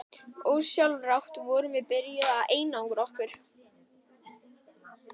Ósjálfrátt vorum við byrjuð að einangra okkur.